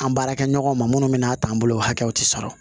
An baarakɛɲɔgɔnw ma minnu bɛ n'a ta an bolo o hakɛw tɛ sɔrɔ